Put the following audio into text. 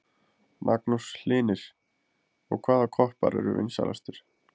Magnús Hlynir: Og hvaða koppar eru vinsælastir?